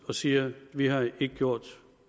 og siger vi har ikke begået